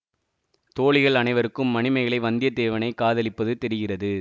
தோழிகள் அனைவருக்கும் மணிமேகலை வந்தியத்தேவனைக் காதலிப்பது தெரிகிறது